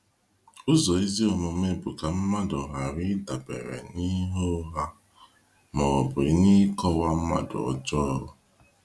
Ụzọ ezi omume bụ ka mmadụ ghara ịdabere n’ihe ụgha ma ọ bụ n’ịkọwa mmadụ ọjọọ.